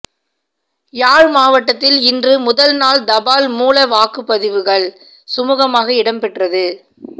யாழ் மாவட்டத்தில் இன்று முதல்நாள் தபால் மூல வாக்குப்பதிவுகள் சுமூகமாக இடம்பெற்றது